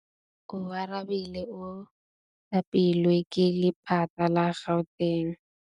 Oarabile o thapilwe ke lephata la Gauteng.